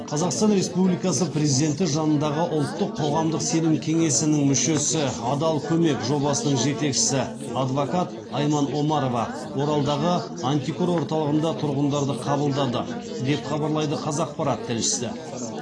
қазақстан республикасы президенті жанындағы ұлттық қоғамдық сенім кеңесінің мүшесі адал көмек жобасының жетекшісі адвокат айман омарова оралдағы антикор орталығында тұрғындарды қабылдады деп хабарлайды қазақпарат тілшісі